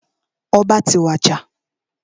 Ọba ti wàjà.